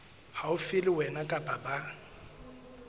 haufi le wena kapa ba